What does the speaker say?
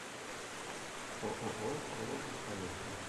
ооо колос поехали